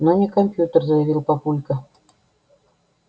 но не компьютер заявил папулька